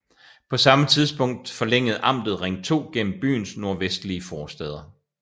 På samme tidspunkt forlængede amtet Ring 2 gennem byens nordvestlige forstæder